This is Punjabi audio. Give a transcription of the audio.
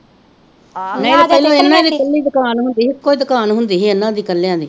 ਨਹੀਂ ਤੇ ਪਹਿਲਾ ਇਹਨਾਂ ਦੀ ਇਕੱਲੀ ਦੁਕਾਨ ਹੁੰਦੀ ਹੀ ਇੱਕੋ ਈ ਦੁਕਾਨ ਹੁੰਦੀ ਹੀ ਇਹਨਾਂ ਦੀ ਇਕੱਲਿਆਂ ਦੀ।